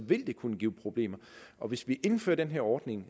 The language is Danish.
vil det kunne give problemer og hvis vi indfører den her ordning